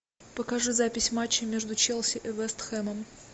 покажи запись матча между челси и вест хэмом